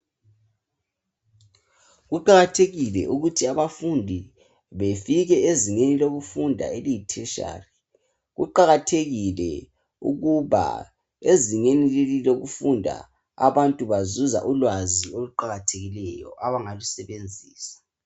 Kuqakathekile ukuthi abafundi befike ezingeni lokufunda eliyi tertiary kuqakathekile ukuba ezingeni leli lokufunda abantu bazuza ulwazi oluqakathekileyo abangalusebenzisa.